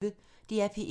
DR P1